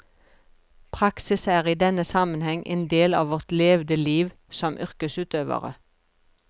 Praksis er i denne sammenheng en del av vårt levde liv som yrkesutøvere.